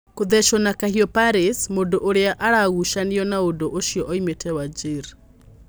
Kũthechuo na kahiũ Paris: Mũndũ ũrĩa aragũchanio na udu ucio oimĩte Wajir